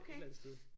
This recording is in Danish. Et eller andet sted